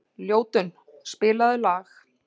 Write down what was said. Ljótunn, spilaðu lag.